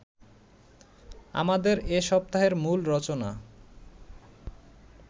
আমাদের এ সপ্তাহের মূল রচনা